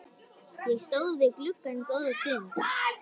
Ég stóð við gluggann góða stund.